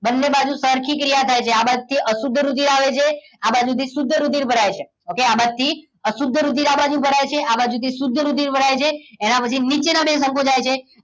બંને બાજુ સરખી ક્રિયા થાય છે આ બાજ થી અશુદ્ધ રુધિર આવે છે આ બાજુથી શુદ્ધ રુધિર ભરાય છે okay આ બાજુથી અશુદ્ધ રુધિર આ બાજુ ભરાય છે આ બાજુથી શુદ્ધ રુધિર ભરાય છે એના પછી નીચેનો બે સંકોચાય છે